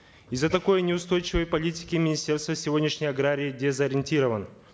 из за такой неустойчивой политики министерства сегодняшний аграрий дезориентирован